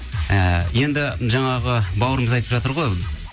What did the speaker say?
ііі енді жаңағы бауырымыз айтып жатыр ғой